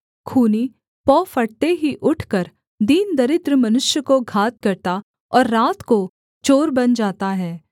खूनी पौ फटते ही उठकर दीन दरिद्र मनुष्य को घात करता और रात को चोर बन जाता है